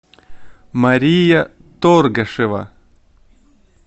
мария торгашева